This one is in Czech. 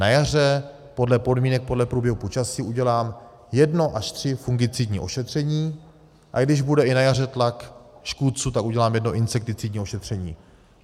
Na jaře podle podmínek, podle průběhu počasí udělám jedno až tři fungicidní ošetření, a když bude i na jaře tlak škůdců, tak udělám jedno insekticidní ošetření.